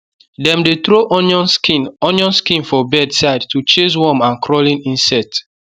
dem dey throw onion skin onion skin for bed side to chase worm and crawling insect